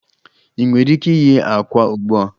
Ị nwere ike ighe àkwá ugbu a